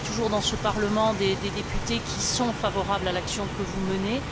Vous aurez toujours dans ce Parlement des députés qui sont favorables à l'action que vous menez.